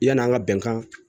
Yan'an ka bɛnkan